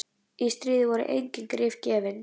Í stríði voru engin grið gefin.